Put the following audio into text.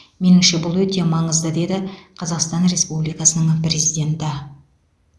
меніңше бұл өте маңызды деді қазақстан республикасының президенті